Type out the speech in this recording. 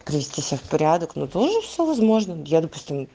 привести себя в порядок ну тоже все возможное я допустим